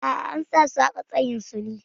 A'a, an sa su haƙa tsayin su ne.